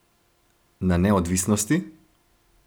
Na neodvisnosti?